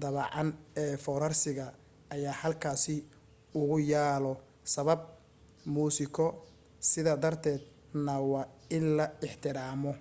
daabacan ee foorarsiga ayaa halkaasi ugu yaalo sabab muusiko sidaa darteeda na waa in la ixtiraamo